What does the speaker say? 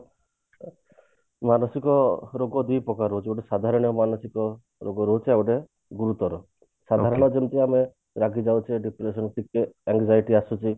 ମାନସିକ ରୋଗ ଦି ପ୍ରକାର ରହୁଛି ଗୋଟେ ସାଧାରଣ ମାନସିକ ରୋଗ ରହୁଛି ଆଉ ଗୋଟେ ଗୁରୁତର ସାଧାରଣ ଯେମତି ଆମେ ରାଗି ଯାଉଛେ anxiety ଆସୁଛି